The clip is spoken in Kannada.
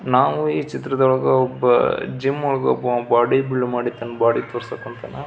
ನಾವು ಈ ಚಿತ್ರದೊಳಗ ಒಬ್ಬ ಜಿಮ್ ಒಳಗ್ ಒಬ್ಬ ಬಾಡಿ ಬಿಲ್ಡ್ ಮಾಡಿ ತನ್ನ ಬಾಡಿ ತೋರ್ಸಾಕ ಅಂಥನ.